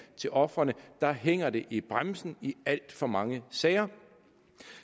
til ofrene hænger det i bremsen i alt for mange sager